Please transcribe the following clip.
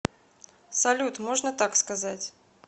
салют можно так сказать